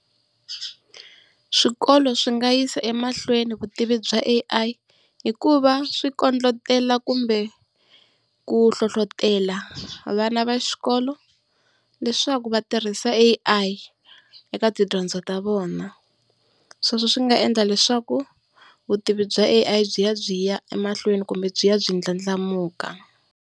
Swikolo swi nga yisa emahlweni vutivi bya A_I hikuva swi kondletela kumbe ku hlohlotela vana va xikolo leswaku va tirhisa A_I eka tidyondzo ta vona. Sweswo swi nga endla leswaku vutivi bya A_I byi ya byi ya emahlweni kumbe byi ya byi ndlandlamuka.